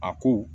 A ko